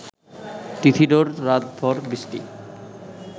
তিথিডোর রাত ভ’র বৃষ্টি